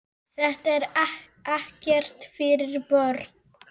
Þetta er ekkert fyrir börn!